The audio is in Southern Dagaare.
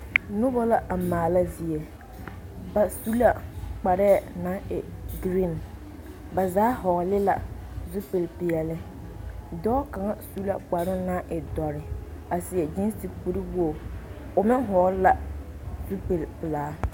Nobɔ la maala zie ba su la kparɛɛ naŋ e green ba zaa hɔɔle la zupilpeɛle dɔɔ kaŋa su la kparoo naŋ e dɔre a seɛ gyeese kuriwoge o meŋ hɔɔle la zupilpelaa.